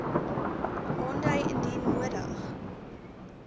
aandui indien nodig